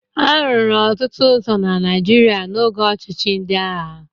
A rụrụ ọtụtụ ụzọ na Naịjirịa n'oge ọchịchị ndị agha.